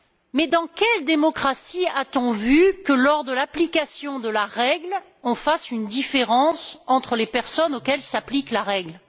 Mais dans quelle démocratie a t on vu que lors de l'application de la règle, on fasse une différence entre les personnes auxquelles s'applique la règle?